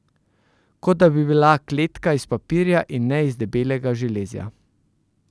Kot da bi bila kletka iz papirja in ne iz debelega železja.